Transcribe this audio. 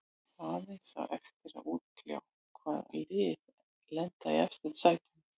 Aðeins á eftir að útkljá hvaða lið lenda í efstu sætunum.